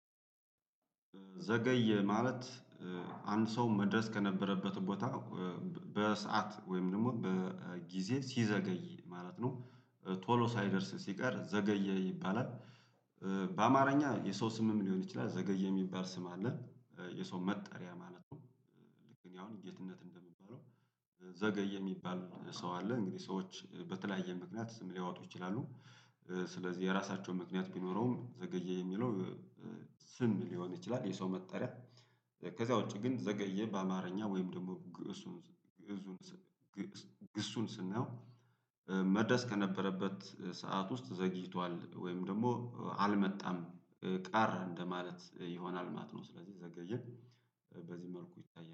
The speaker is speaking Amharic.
ዘገዬ ማለት አንድ ሰው መድረስ ከነበረበት ቦታ በሰአት ወይም ደግሞ በጊዜ ሲዘገይ ማለት ነው ቶሎ ሳይደርስ ሲቀር ዘገየ ይባላል። በአማርኛ የሰው ስምም ሊሆን ይችላል ዘገየ የሚባል ስም አለ። የሰው መጠሪያ ማለት ነው። ልክ እኔ አሁን ጌትነት እንደምባለው ዘገየ የሚባል ሰው አለ እንግዲህ ሰዎች በተለያየ ምክንያት ስም ሊያወጡ ይችላሉ። ስለዚህ የራሳቸው ምክንያት ቢኖረውም ዘገየ የሚለው ስም ሊሆን ይችላል የሰው መጠሪያ። ከዛ ውጪ ግን ዘገየ በአማርኛ ወይም ደግሞ ግሱን። ግሱን ስንየው። መድረስ ከነበረበት ሰዓት ውስጥ ዘግይቷል ወይም ደግሞ አልመጣም ቀረ እንደማለት ይሆናል ማትነው። ስለዚህ ዘገየ በዚህ መልኩ ይታያል